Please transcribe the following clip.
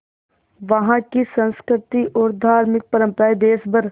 वहाँ की संस्कृति और धार्मिक परम्पराएं देश भर